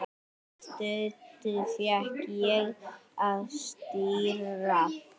Stundum fékk ég að stýra.